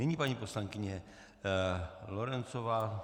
Nyní paní poslankyně Lorencová.